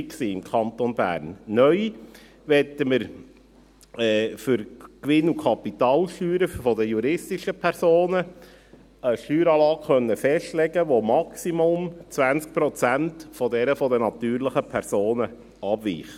Neu möchten wir für die Gewinn- und Kapitalsteuern der juristischen Personen eine Steueranlage festlegen können, die um maximal 20 Prozent von derjenigen der natürlichen Personen abweicht.